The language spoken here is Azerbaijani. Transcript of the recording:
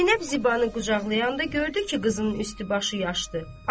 Zeynəb Zibanı qucaqlayanda gördü ki, qızının üst-başı yaşdır.